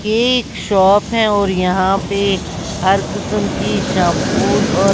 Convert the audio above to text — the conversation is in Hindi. ये एक शॉप है और यहां पे हर किसम की शैंपूस और।